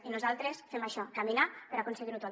i nosaltres fem això caminar per aconseguir ho tot